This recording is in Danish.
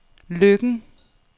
Løkken